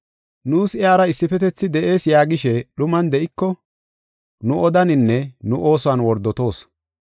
Nuus iyara issifetethi de7ees yaagishe dhuman de7iko, nu odaaninne nu oosuwan wordotoos.